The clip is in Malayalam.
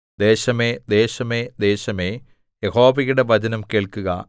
ദേശമേ ദേശമേ ദേശമേ യഹോവയുടെ വചനം കേൾക്കുക